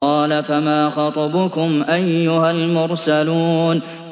قَالَ فَمَا خَطْبُكُمْ أَيُّهَا الْمُرْسَلُونَ